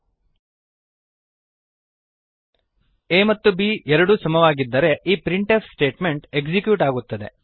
a ಮತ್ತು b ಎರಡೂ ಸಮವಾಗಿದ್ದರೆ ಈ ಪ್ರಿಂಟ್ ಎಫ್ ಸ್ಟೇಟ್ಮೆಂಟ್ ಎಕ್ಸಿಕ್ಯೂಟ್ ಆಗುತ್ತದೆ